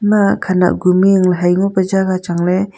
a khanak guming ley hai ngo pa jaga chang ley.